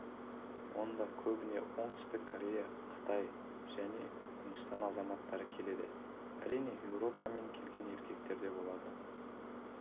онда көбіне оңтүстік корея қытай және үндістан азаматтары келеді әрине еуропа мен келген еркектер де болады